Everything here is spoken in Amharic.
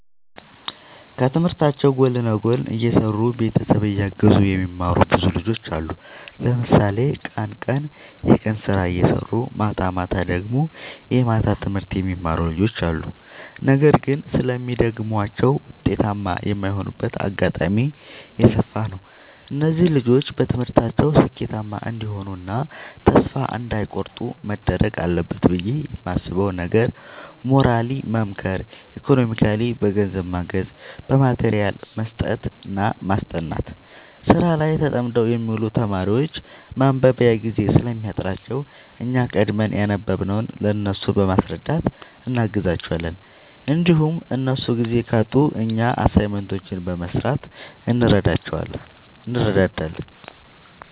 ከትምህርታቸው ጎን ለጎን እየሰሩ ቤተሰብ እያገዙ የሚማሩ ብዙ ልጆች አሉ። ለምሳሌ ቀን ቀን የቀን ስራ እየሰሩ ማታማታ ደግሞ የማታ ትምህርት የሚማሩ ልጆች አሉ። ነገር ግን ስለሚደግማቸው ውጤታማ የማይሆኑበት አጋጣሚ የሰፋ ነው። እነዚህ ልጆች በትምህርታቸው ስኬታማ እንዲሆኑ እና ተስፋ እንዳይ ቆርጡ መደረግ አለበት ብዬ የማስበው ነገር ሞራሊ መምከር ኢኮኖሚካሊ በገንዘብ ማገዝ በማቴሪያል መስጠትና ማስጠናት። ስራ ላይ ተጠምደው የሚውሉ ተማሪዎች ማንበቢያ ጊዜ ስለሚያጥራቸው እኛ ቀድመን ያነበብንውን ለእነሱ በማስረዳት እናግዛቸዋለን እንዲሁም እነሱ ጊዜ ካጡ እኛ አሳይመንቶችን በመስራት እንረዳዳለን